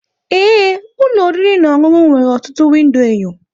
ee, ụlọ oriri na ọṅụṅụ nwere ọtụtụ windo enyo